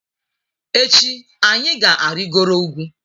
Echi anyị ga-arịgoro ugwu.